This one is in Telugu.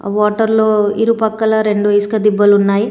ఆ వాటర్ లో ఇరుపక్కల రెండు ఇసుక దిబ్బలున్నాయ్.